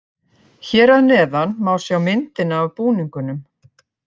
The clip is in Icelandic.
Hér að neðan má sjá myndina af búningunum.